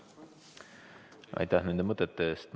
Aitäh nende mõtete eest!